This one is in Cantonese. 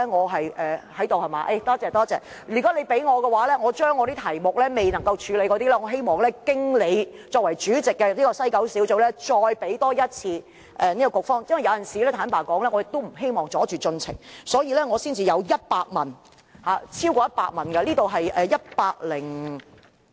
如果他容許我，我希望把未能處理的問題經聯合小組委員會主席劉議員再給西九管理局，因為有時候，坦白說，我也不希望阻礙進程，所以我才會有100問，超過100條問題。